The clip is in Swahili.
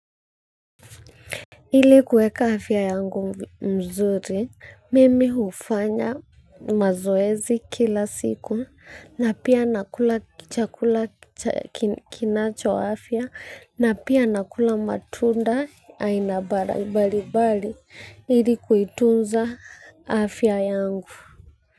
Ili kueka afya yangu mzuri, mimi hufanya mazoezi kila siku na pia nakula chakula cha kinacho afya na pia nakula matunda aina mbalimbali ili kuitunza afya yangu.